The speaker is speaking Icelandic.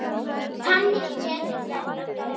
Þá hefði